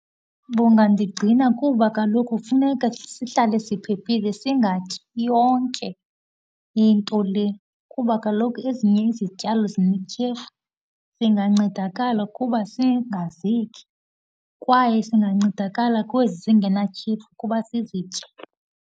Bungandigcina kuba kaloku kufuneka sihlale siphephile, singatyi yonke into le kuba kaloku ezinye izityalo zinetyhefu. Singancedakala ukuba singazityi, kwaye singancedakala kwezi zingenatyhefu ukuba sizitye.